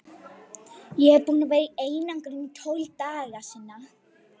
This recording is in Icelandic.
Ég er búinn að vera í einangrun í tólf daga.